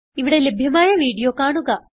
ഇവിടെ ലഭ്യമായ വീഡിയോ കാണുക